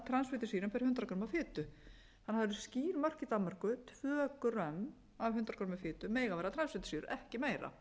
transfitusýrum fyrir hundrað grömm af fitu þannig á það eru skýr mörk í danmörku tvö grömm af hundrað g af fitu mega vera transfitusýru ekki meira